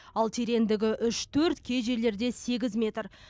ал тереңдігі үш төрт кей жерлерде сегіз метр